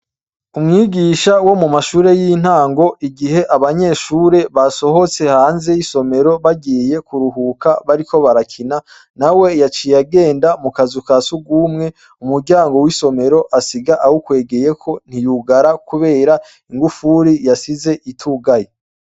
Umwigisha wo mu mashure y'intango igihe abanyeshure basohotse hanze y'isomero bagiye kuruhuka bariko barakina nawe yaciye agenda mu kazu ka surwumwe umuryango w'isomero asiga awukwegeyeko ntiyugara kubera ingufuri yasize itugaye.